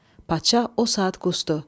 Padşah o saat qusdu.